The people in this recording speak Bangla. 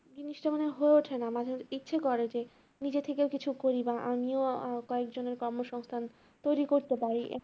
জিনিসটা মনে হয় হয়ে ওঠে না। মাঝে মাঝে ইচ্ছে করে যে নিজের থেকে কিছু করি বা আমিও কয়েকজনের কর্মসংস্থান তৈরি করতে পারি